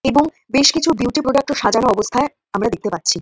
এবং বেশ কিছু বিউটি প্রোডাক্ট -ও সাজানো অবস্থায় দেখতে পাচ্ছি।